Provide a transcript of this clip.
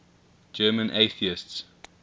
german atheists